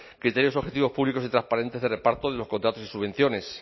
criterios objetivos públicos y transparentes de reparto de los contratos y subvenciones